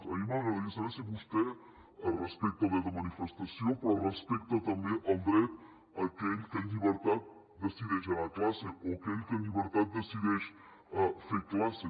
a mi m’agradaria saber si vostè respecta el dret de manifestació però respecta també el dret a aquell que en llibertat decideix anar a classe o aquell que en llibertat decideix fer classes